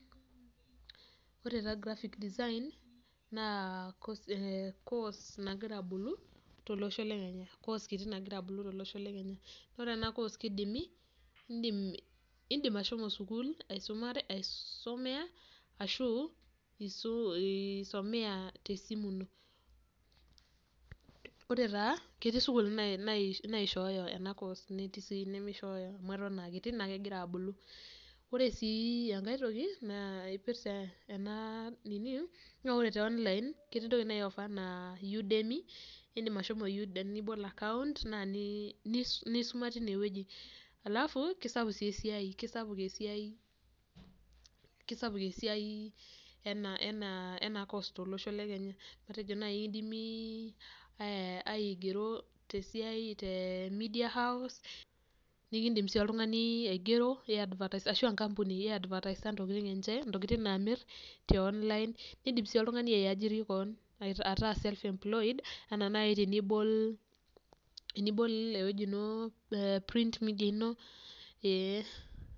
Ore taa graphic design naa koos nagira abulu, koos kiti nagira abulu tolosho le Kenya. Ore ena koos kidimi iidim ashomo sukuul aisomea ashu isomea tesimu ino. Ore taa ketii sukuulini naishooyo ena koos netii sii inimishooyo amu aton aakiti neeku kegira abulu. Ore sii enkae toki naipirta ena nini naa te online ketii intokitin naiofer enaa Udemi naa ibol akaunt nisuma teinewoji, alafu kisapuk esiai keisapuk esiai ena koos tolosho le Kenya, matejo naai ekidimi aigero te media house nikidim sii oltungani aigero ashu aa enkampuni advertiser intokitin enye intokitin naamir tio online, kiidim sii oltungani aajiri kewon ataa self employed enaa nai tenibol print media ino ee.